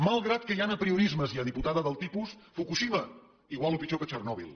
malgrat que hi han apriorismes ja diputada del tipus fukushima igual o pitjor que txernòbil